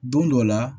Don dɔ la